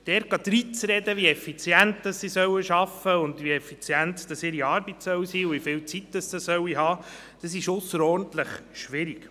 Dort dreinzureden, wie effizient sie zu arbeiten hätten, wie effizient ihre Arbeit zu sein habe und wie viel Zeit ihnen zur Verfügung stehen solle – das ist ausserordentlich schwierig.